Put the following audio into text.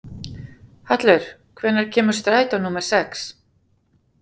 Hallur, hvenær kemur strætó númer sex?